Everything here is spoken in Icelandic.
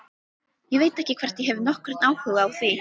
Ég veit ekki hvort ég hef nokkurn áhuga á því.